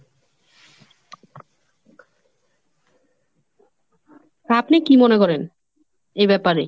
তা আপনি কি মনে করেন , এ ব্যাপারে?